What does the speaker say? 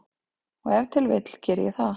Og ef til vill geri ég það.